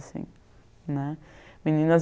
assim, né. Meninas